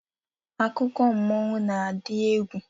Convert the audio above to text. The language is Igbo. Akụkọ mmụọ n'adị egwu